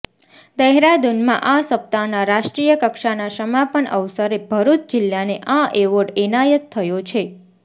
દહેરાદૂનમાં આ સપ્તાહના રાષ્ટ્રીય કક્ષાના સમાપન અવસરે ભરૂચ જિલ્લાને આ એવોર્ડ એનાયત થયો છે